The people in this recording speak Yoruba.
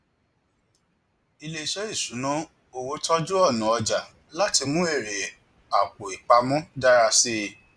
iléiṣẹ ìṣúnná owó tọjú ọnà ọjà láti mú èrè àpòìpamọ dára sí i